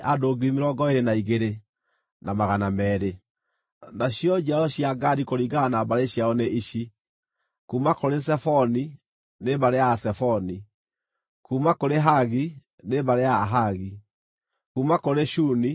Nacio njiaro cia Gadi kũringana na mbarĩ ciao nĩ ici: kuuma kũrĩ Zefoni, nĩ mbarĩ ya Azefoni; kuuma kũrĩ Hagi, nĩ mbarĩ ya Ahagi; kuuma kũrĩ Shuni, nĩ mbarĩ ya Ashuni;